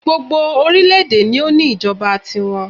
Gbogbo orílẹ̀ èdè ni o ní ìjọba ti wọn